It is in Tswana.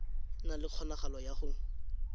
na le kgonagalo ya go